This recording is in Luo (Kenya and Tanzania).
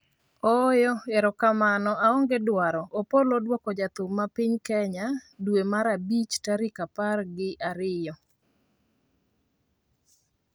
ooyo, erokamano aonge dwaro ', Opolo oduoko jathum ma piny Kenya dwe mar abich tarik apar gi ariyo